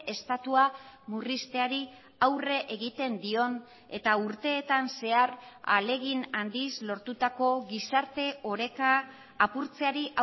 estatua murrizteari aurre egiten dion eta urteetan zehar ahalegin handiz lortutako gizarte oreka apurtzeari